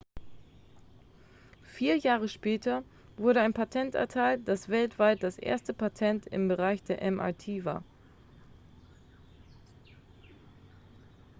vier jahre später wurde ein patent erteilt das weltweit das erste patent im bereich der mrt war